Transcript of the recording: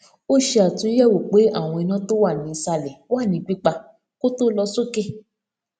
ó ṣe àtúnyẹwò pé àwọn iná tó wà nísàlè wà ní pípa kó tó lọ sókè